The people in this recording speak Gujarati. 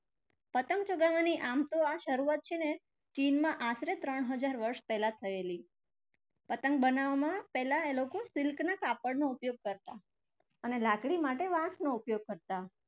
પતંગ ચગાવવાની આમ તો આ શરૂઆત છે ને ચીનમાં આશરે ત્રણ હજાર વર્ષ પહેલ થયેલી. પતંગ બનાવવામાં પહેલા એ લોકો silk ના કાપડનો ઉપયોગ કરતા અને લાકડી માટે વાંસનો ઉપયોગ કરતા.